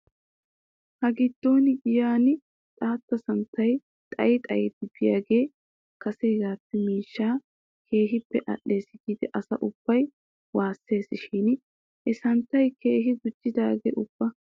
Hagiddon giyan xaata santtay xayi xayidi biyaagee kaseppe miishshaa keehippe al'iis giidi asi ubbi waasses shin he santtay keehi gujjidee ubba?